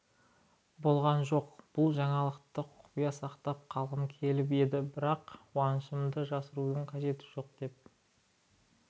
болған жоқ бұл жаңалықты құпия сақтап қалғым келіп еді бірақ қуанышымды жасырудың қажеті жоқ деп